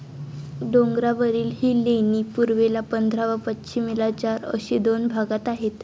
डोंगरावरील ही लेणी पूर्वेला पंधरा व पश्चिमेला चार अशी दोन भागात आहेत.